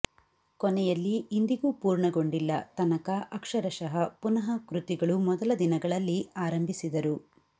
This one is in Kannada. ಕೊನೆಯಲ್ಲಿ ಇಂದಿಗೂ ಪೂರ್ಣಗೊಂಡಿಲ್ಲ ತನಕ ಅಕ್ಷರಶಃ ಪುನಃ ಕೃತಿಗಳು ಮೊದಲ ದಿನಗಳಲ್ಲಿ ಆರಂಭಿಸಿದರು